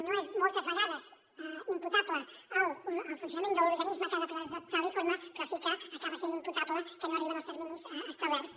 no és moltes vegades imputable al funcionament de l’organisme que ha de presentar l’informe però sí que acaba essent imputable que no arriba en els terminis establerts